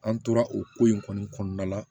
An tora o ko in kɔni kɔnɔna la